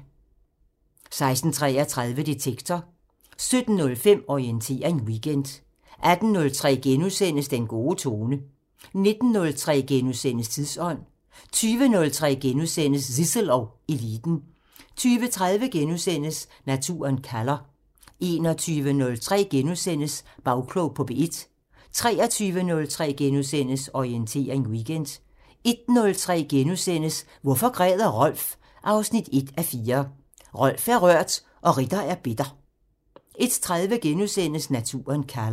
16:33: Detektor 17:05: Orientering Weekend 18:03: Den gode tone * 19:03: Tidsånd * 20:03: Zissel og Eliten * 20:30: Naturen kalder * 21:03: Bagklog på P1 * 23:03: Orientering Weekend * 01:03: Hvorfor græder Rolf? 1:4 – Rolf er rørt og Ritter er bitter * 01:30: Naturen kalder *